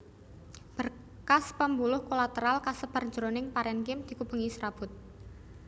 Berkas pambuluh kolateral kasebar jroning parènkim dikupengi srabut